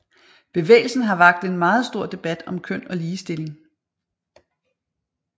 Bevægelsen har vakt en meget stor debat om køn og ligestilling